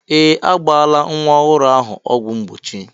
Ee! A gbala nwa ọhụrụ ahụ ọgwụ mgbochi.